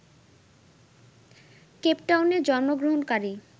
কেপটাউনে জন্মগ্রহণকারী